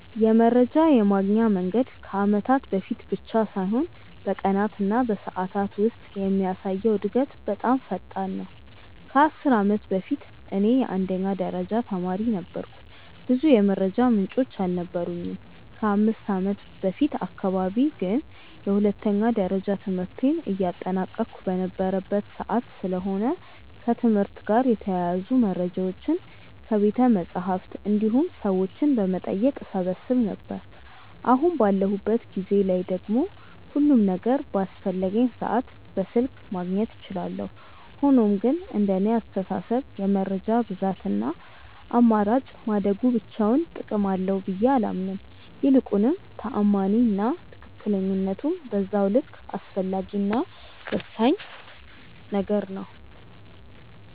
የመረጃ የማግኛ መንገድ ከአመታት በፊት ብቻ ሳይሆን በቀናት እና በሰዓታት ውስጥ የሚያሳየው እድገት በጣም ፈጣን ነው። ከ10 አመት በፊት እኔ የአንደኛ ደረጃ ተማሪ ነበርኩ ብዙ የመረጃ ምንጮች አልነበሩኝም። ከ5ከአመት በፊት አካባቢ ግን የሁለተኛ ደረጃ ትምህርቴን እያጠናቀቅሁ የነበረበት ሰዓት ስለሆነ ከትምህርት ጋር የተያያዙ መረጃዎችን ከቤተመፅሀፍት እንዲሁም ሰዎችን በመጠየቅ እሰበስብ ነበር። አሁን ባለሁበት ጊዜ ላይ ደግሞ ሁሉም ነገር በአስፈለገኝ ሰዓት በስልክ ማግኘት እችላለሁ። ሆኖም ግን እንደኔ አስተሳሰብ የመረጃ ብዛት እና አማራጭ ማደጉ ብቻውን ጥቅም አለው ብዬ አላምንም። ይልቁንም ተአማኒ እና ትክክለኝነቱም በዛው ልክ አስፈላጊ እና ወሳኝ ነገር ነው።